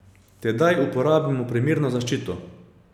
Tedaj uporabimo primerno zaščito.